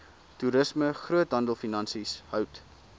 toerisme groothandelfinansies hout